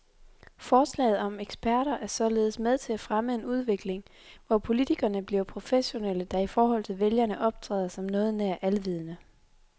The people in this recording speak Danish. Forslaget om eksperter er således med til at fremme en udvikling, hvor politikerne bliver professionelle, der i forhold til vælgerne optræder som noget nær alvidende.